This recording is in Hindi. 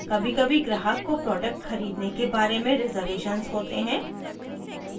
कभीकभी ग्राहक को प्रोडक्ट खरीदने के बारे में रिजर्वेशन्स होते हैं